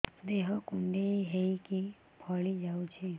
ଦେହ କୁଣ୍ଡେଇ ହେଇକି ଫଳି ଯାଉଛି